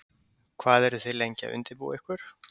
Hvað eru þið lengi að undirbúa ykkur?